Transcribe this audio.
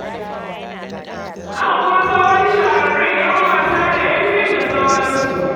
Haka kuma sauran shahararrun 'yan wasa da 'yan fim da sauransu.